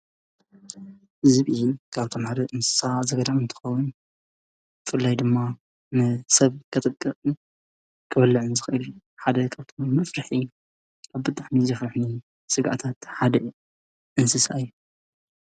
ዝብኢ ካብቶም ሓደ እንስሳ ዘገዳም እንትከውን ብፍላይ ድማ ንሰብ ከጥቅዕን ክበልዕን ዝክእል። ሓደ ካብቶም መፍርሒ ካብቶም መፈርሒ ብጣዕሚ ዘፈርሑኒ ስግኣታት ሓደ እንስሳ እዩ።